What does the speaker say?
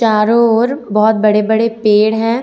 चारों ओर बहौत बड़े बड़े पेड़ हैं।